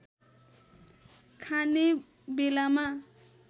खाने बेलामा